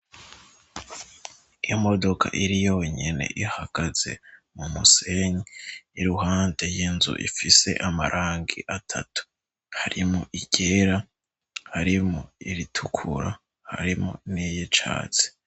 Iyo modoka iri yonyine ihagaze mu musenyi, iruhande y'inzu ifise amarangi atatu harimwo iryera harimwo iritukura, harimwo n'iyicatsi.